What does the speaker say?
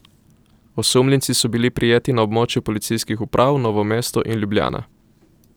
Osumljenci so bili prijeti na območju policijskih uprav Novo mesto in Ljubljana.